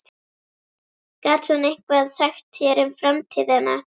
Gat hún eitthvað sagt þér um framtíðina?